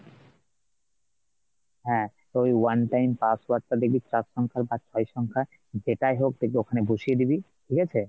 হ্যাঁ তো ওই one time password টা দেখবি চার সংখ্যার বা ছয় সংখ্যা, যেটাই হোক দেখবি ওখানে বসিয়ে দিবি ঠিক আছে।